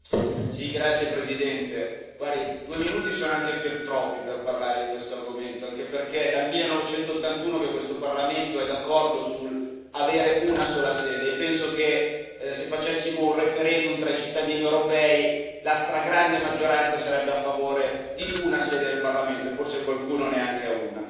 Signor Presidente, onorevoli colleghi, due minuti sono anche fin troppi per parlare di questo argomento, anche perché è dal 1981 che questo Parlamento è d'accordo sull'avere una sola sede e penso che, se facessimo un referendum tra i cittadini europei, la stragrande maggioranza sarebbe a favore di una sede del Parlamento, e forse qualcuno neanche di una.